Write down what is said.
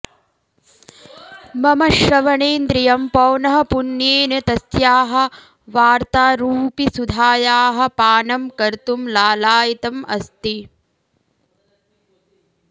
मम श्रवणेन्द्रियं पौनःपुन्येन तस्याः वार्तारूपिसुधायाः पानं कर्तुं लालायितम् अस्ति